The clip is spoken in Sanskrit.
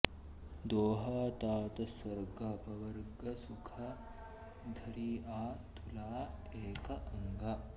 दोहा तात स्वर्ग अपबर्ग सुख धरिअ तुला एक अंग